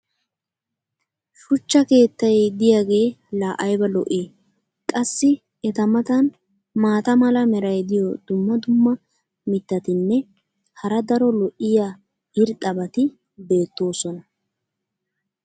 shuchcha keettay diyaagee laa aybba lo'ii? qassi eta matan maata mala meray diyo dumma dumma mitatinne hara daro lo'iya irxxabati beetoosona.